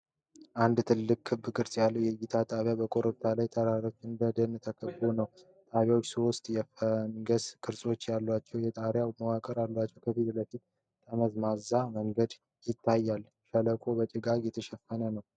አንድ ዘመናዊ ክብ ቅርጽ ያለው የእይታ ጣቢያ በኮረብታ ላይ፣ በተራሮች እና ደን የተከበበ ነው። ጣቢያው ሶስት የፈንገስ ቅርጽ ያላቸው የጣሪያ መዋቅሮች አሉት። ከፊት ለፊቱ ጠመዝማዛ መንገድ ይታያል። ሸለቆው በጭጋግ የተሸፈነ ነው።